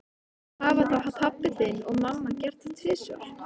Hafa þá pabbi þinn og mamma gert það tvisvar?